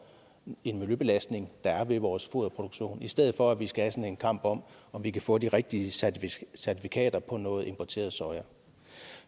en miljøbelastning der var ved vores foderproduktion i stedet for at vi skal have sådan en kamp om om vi kan få de rigtige certifikater på noget importeret soja